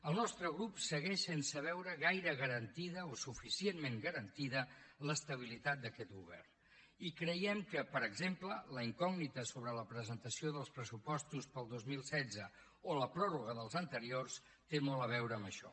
el nostre grup segueix sense veure gaire garantida o suficientment garantida l’estabilitat d’aquest govern i creiem que per exemple la incògnita sobre la presentació dels pressupostos per al dos mil setze o la pròrroga dels anteriors té molt a veure amb això